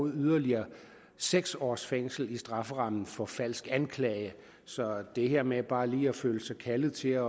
yderligere seks års fængsel i strafferammen for falsk anklage så det her med bare lige at føle sig kaldet til at